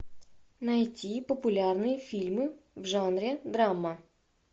найти популярные фильмы в жанре драма